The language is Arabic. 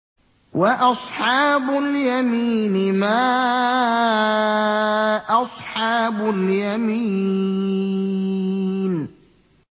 وَأَصْحَابُ الْيَمِينِ مَا أَصْحَابُ الْيَمِينِ